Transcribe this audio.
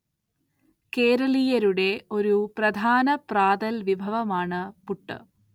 കേരളീയരുടെ ഒരു പ്രധാ‍ന പ്രാതൽ വിഭവമാണ് പുട്ട്.